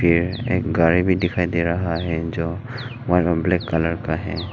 ये एक गाड़ी भी दिखाई दे रहा है जो ब्लैक कलर का है।